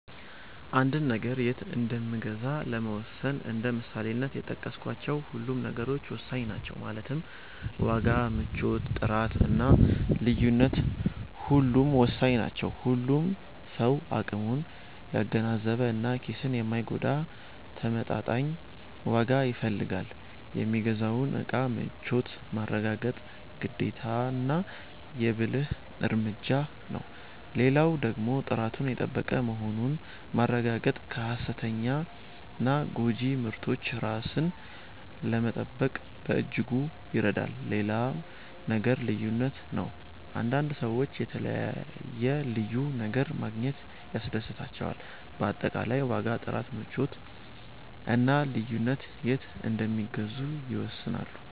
አንድን ነገር የት እንምገዛ ለመወሰን እንደ ምሳሌነት የጠቀስካቸው ሁሉም ነገሮች ወሳኝ ናቸው ማለትም ዋጋ፣ ምቾት፣ ጥራት እና ልዩነት ሁሉም ወሳኝ ናቸው። ሁሉም ሰው አቅሙን ያገናዘበ እና ኪስን የማይጎዳ ተመጣጣኝ ዋጋ ይፈልጋል። የሚገዛውን እቃ ምቾት ማረጋገጥ ግዴታና የ ብልህ እርምጃ ነው። ሌላው ደግሞ ጥራቱን የጠበቀ መሆኑን ማረጋገጥ ከ ሃሰተኛና ጎጂ ምርቶች ራስን ለመጠበቅ በእጅጉ ይረዳል። ሌላው ነገር ልዩነት ነው፤ አንዳንድ ሰዎች የተለየ(ልዩ) ነገር ማግኘት ያስደስታቸዋል። በአጠቃላይ ዋጋ፣ ጥራት፣ ምቾት እና ልዩነት የት እንደሚገዙ ይወስናሉ።